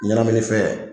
Ɲɛnaminifɛn